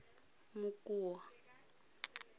mokoa